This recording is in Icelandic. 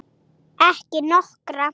Ekki nokkra.